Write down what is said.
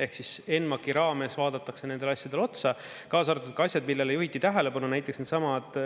Ehk siis NMAK-i raames vaadatakse nendele asjadele otsa, kaasa arvatud ka asjad, millele juhiti tähelepanu, näiteks needsamad